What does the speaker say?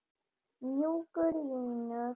Mjúkar línur.